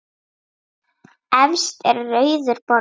Efst er rauður borði.